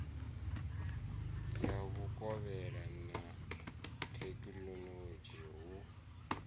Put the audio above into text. ya vhukovhela na thekhinolodzhi hu